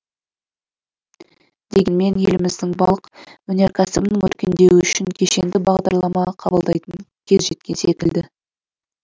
дегенмен еліміздің балық өнеркәсібінің өркендеуі үшін кешенді бағдарлама қабылдайтын кез жеткен секілді